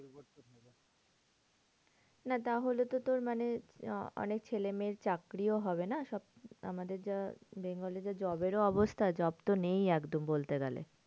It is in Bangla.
না তাহলে তো তোর মানে আহ অনেক ছেলে মেয়ের চাকরিও হবে না? সব আমাদের যা bengal এ যা job এর অবস্থা job তো নেই একদম বলতে গেলে।